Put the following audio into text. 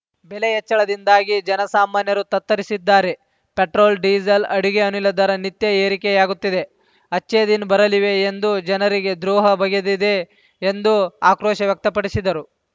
ಬೆಲೆ ಹೆಚ್ಚಳದಿಂದಾಗಿ ಜನಸಾಮಾನ್ಯರು ತತ್ತರಿಸಿದ್ದಾರೆ ಪೆಟ್ರೋಲ್‌ಡೀಸೆಲ್‌ ಅಡುಗೆ ಅನಿಲ ದರ ನಿತ್ಯ ಏರಿಕೆಯಾಗುತ್ತಿದೆ ಅಚ್ಛೇ ದಿನ್‌ ಬರಲಿವೆ ಎಂದು ಜನರಿಗೆ ದ್ರೋಹ ಬಗೆದಿದೆ ಎಂದು ಆಕ್ರೋಶ ವ್ಯಕ್ತಪಡಿಸಿದರು